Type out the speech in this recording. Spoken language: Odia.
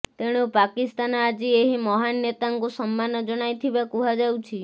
ତେଣୁ ପାକିସ୍ତାନ ଆଜି ଏହି ମହାନ୍ ନେତାଙ୍କୁ ସମ୍ମାନ ଜଣାଇଥିବା କୁହାଯାଉଛି